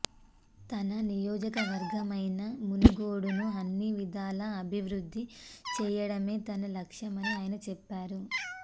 తన నియోజకవర్గమైన మునుగోడును అన్ని విధాల అభివృద్ధి చేయడమే తన లక్ష్యమని ఆయన చెప్పారు